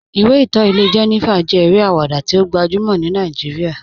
Ìwé ìtọ́ ilẹ̀ Jènífà jẹ́ èrè awada tí ó gbajúmọ̀ ní Nàìjíríà